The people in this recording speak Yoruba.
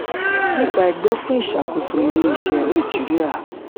nipa ẹgbẹ́ fún ìṣàkóso ilé-iṣẹ́ naijiria